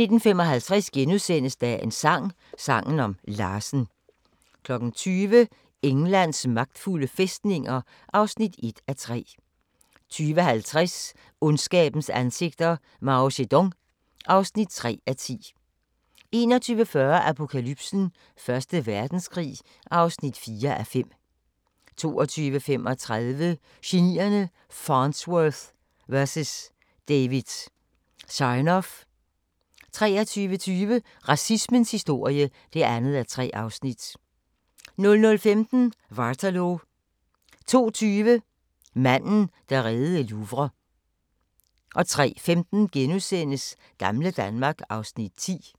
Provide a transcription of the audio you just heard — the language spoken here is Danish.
19:55: Dagens sang: Sangen om Larsen * 20:00: Englands magtfulde fæstninger (1:3) 20:50: Ondskabens ansigter – Mao Zedong (3:10) 21:40: Apokalypsen: Første Verdenskrig (4:5) 22:35: Genierne: Farnsworth vs David Sarnoff 23:20: Racismens historie (2:3) 00:15: Waterloo 02:20: Manden, der reddede Louvre 03:15: Gamle Danmark (Afs. 10)*